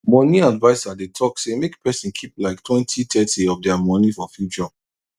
money adviser dey talk say make person keep like twenty thirty of dir money for future